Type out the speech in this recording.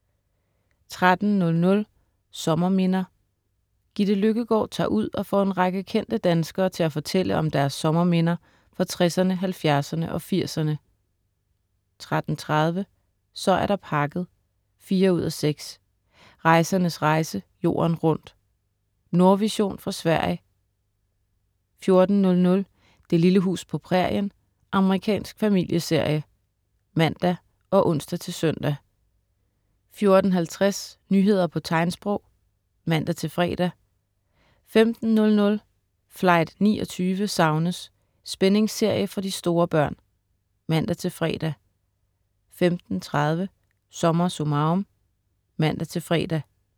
13.00 Sommerminder. Gitte Løkkegård tager ud og får en række kendte danskere til at fortælle om deres sommerminder fra 60'erne, 70'erne og 80'erne 13.30 Så er der pakket 4:6. Rejsernes rejse: Jorden rundt. Nordvision fra Sverige 14.00 Det lille hus på prærien. Amerikansk familieserie (man og ons-søn) 14.50 Nyheder på tegnsprog (man-fre) 15.00 Flight 29 savnes! Spændingsserie for de store børn (man-fre) 15.30 SommerSummarum* (man-fre)